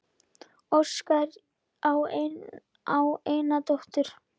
Óskar á eina dóttur.